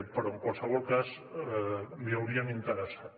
però en qualsevol cas li haurien interessat